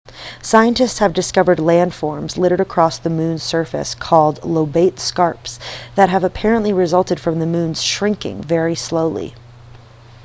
scientists have discovered landforms littered across the moon's surface called lobate scarps that have apparently resulted from the moon's shrinking very slowly